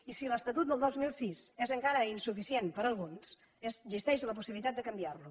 i si l’estatut del dos mil sis és encara insuficient per a alguns existeix la possibilitat de canviar lo